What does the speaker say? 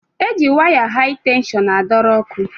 E ji waya hai tenshọn a dọrọ ọkụ.